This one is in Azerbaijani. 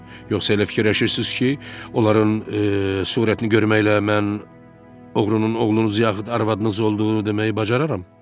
Yoxsa elə fikirləşirsiniz ki, onların surətini görməklə mən oğrunun oğlunuz yaxud arvadınız olduğunu deməyi bacararam?